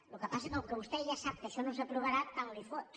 el que passa que com que vostè ja sap que això no s’aprovarà tant li fot